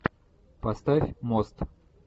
поставь мост